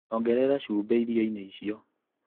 Ongerera cumbĩ irioinĩ icio.